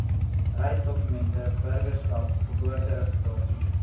reisdokumente burgerskap geboorteregistrasie